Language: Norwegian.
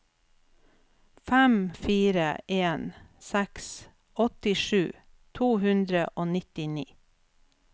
fem fire en seks åttisju to hundre og nittini